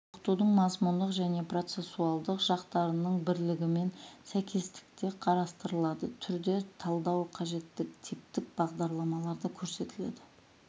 оқытудың мазмұндық және процессуалдық жақтарының бірлігімен сәйкестікте қарастырылады түрде талдау қажеттігі типтік бағдарламаларда көрсетіледі